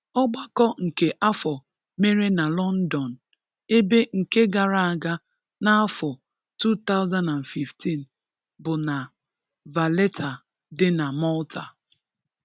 Ọgbakọ nke afọ mere na Lọndọn, ebe nke gara aga n’afọ 2015 bụ na Valletta dị na Malta.